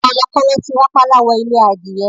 Kọ̀lọ̀kọ̀lọ̀ ti rápálá wọ ilé adìyẹ